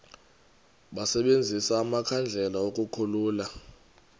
basebenzise amakhandlela ukukhulula